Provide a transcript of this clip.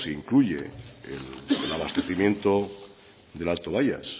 incluye el abastecimiento del alto bayas